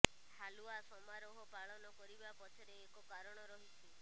ହାଲୱା ସମାରୋହ ପାଳନ କରିବା ପଛରେ ଏକ କାରଣ ରହିଛି